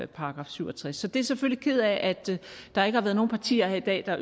§ syv og tres er selvfølgelig ked af at der ikke har været nogen partier her i dag der